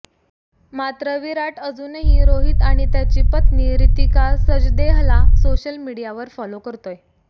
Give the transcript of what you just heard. मात्र विराट अजूनही रोहित आणि त्याची पत्नी रितिका सजदेहला सोशल मीडियावर फॉलो करतोय